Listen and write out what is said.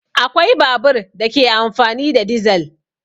Akwai babur da ke amfani da dizal